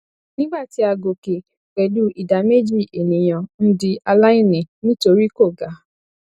nigba ti a gòkè pẹlú ìdá méjì ènìyàn ń di aláìní nítorí kò ga